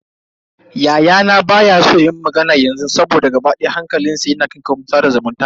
Yayana baya so yi mana magana yanzu saboda gaba daya hankalinsa na kan kafafen sada zumunta.